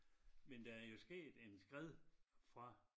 Men der er jo sket en skred fra